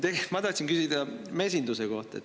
Tegelt ma tahan küsida mesinduse kohta.